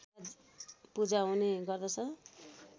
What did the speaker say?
पूजा हुने गर्दछ